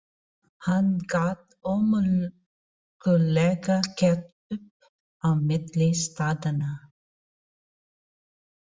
Hann gat ómögulega gert upp á milli staðanna.